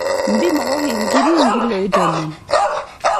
Mpimokoki inkirri ilkiloi tomon.